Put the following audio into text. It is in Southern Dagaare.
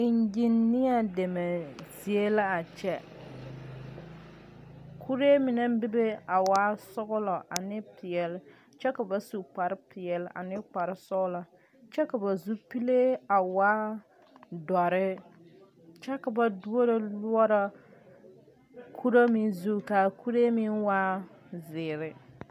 Engineer deme zie la a kyɛ kuree mine bebe a waa sɔglɔ ane peɛle kyɛ ka ba su kpare peɛle ane kpare sɔglɔ kyɛ ka ba zupilee a waa dɔre kyɛvkavba duoro loɔrɔ kuro meŋ zu kaa kuree meŋ waa zeere.